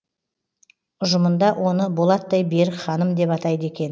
ұжымында оны болаттай берік ханым деп атайды екен